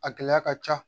A gɛlɛya ka ca